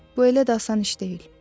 Bu elə də asan iş deyil.